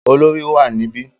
Olorì wà níbí.